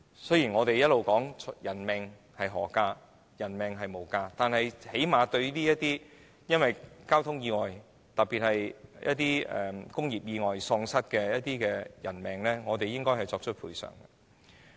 雖然我們一直說人命無價，但最低限度政府應對因交通意外，以及特別是工業意外喪失的人命作出賠償。